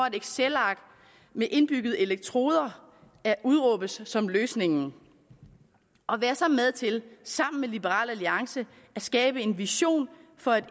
et excelark med indbyggede elektroder udråbes som løsningen og vær så med til sammen med liberal alliance at skabe en vision for